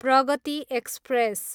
Pragati express